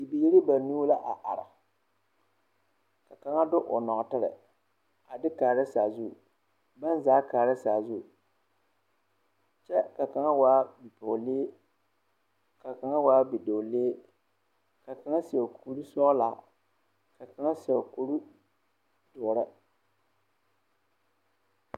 Bibiiri banuu la a are ka kaŋa de o nɔɔtere a de kaara sazu baŋ zaa kaara sazu kyɛ ka kaŋa waa bipɔgelee ka kaŋa waa bidɔɔlee ka kaŋa seɛ kurisɔglaa ka kaŋa seɛ kuri doɔre.